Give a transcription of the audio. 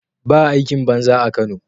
Baa aikin banza a Kano